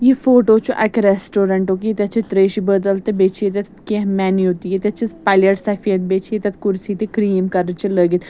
یہِ فوٹوچُھ اَکہِ ریسٹورنٹُک ییٚتٮ۪تھ چھ تریٚشہِ بٲتل تہِ بیٚیہِ چھ ییٚتٮ۪تھ کیٚنٛہہ مینِو .تہِ ییٚتٮ۪تھ چھ پلیٹ سفید بیٚیہِ چھ ییٚتٮ۪تھ کُرسی تہِ کرٛہِنۍکلرٕچ لٲگِتھ